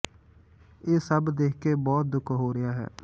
ਇਹ ਸਭ ਦੇਖ ਕੇ ਬਹੁਤ ਦੁੱਖ ਹੋ ਰਿਹਾ ਹੈ